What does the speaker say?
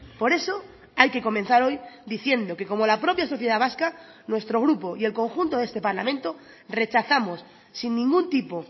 por eso hay que comenzar hoy diciendo que como la propia sociedad vasca nuestro grupo y el conjunto de este parlamento rechazamos sin ningún tipo